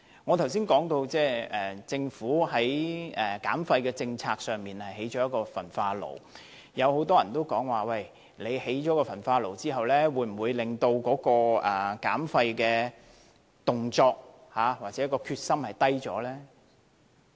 我剛才說政府的減廢政策包括興建一座焚化爐，很多人問興建焚化爐後，會否削弱減廢的動力或決心？